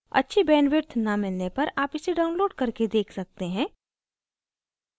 अच्छी bandwidth न मिलने पर आप इसे download करके देख सकते हैं